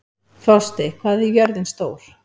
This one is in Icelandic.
Frosti, hvað er jörðin stór?